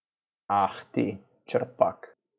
Ah ti, Čerpak.